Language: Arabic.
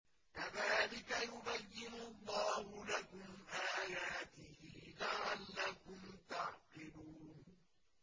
كَذَٰلِكَ يُبَيِّنُ اللَّهُ لَكُمْ آيَاتِهِ لَعَلَّكُمْ تَعْقِلُونَ